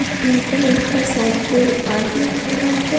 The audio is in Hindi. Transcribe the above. एक पिंक कलर का साइकिल आगे खड़ा है।